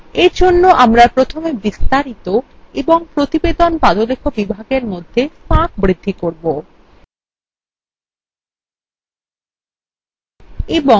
for জন্য আমরা প্রথমে বিস্তারিত এবং প্রতিবেদন পাদলেখ বিভাগের মধ্যে ফাঁক বৃদ্ধি করব